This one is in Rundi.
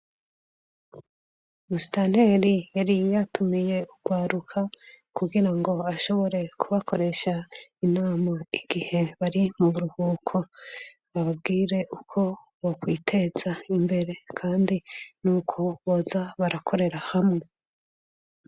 mustanteri yari yatumiye urwaruka kugira ngo ashobore kubakoresha inama igihe bari mu buruhuko babwire uko bo kwiteza imbere kandi n'uko boza barakorera hamwe